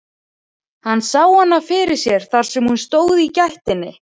Hann sá hana fyrir sér þar sem hún stóð í gættinni.